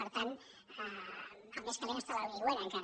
per tant el més calent està a l’aigüera encara